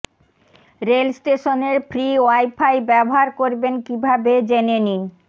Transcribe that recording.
rail স্টেশনের free WiFi ব্যবহার করবেন কীভাবে জেনে নিন